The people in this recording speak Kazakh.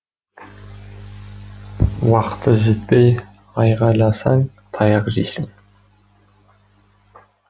уақыты жетпей айқайласаң таяқ жейсің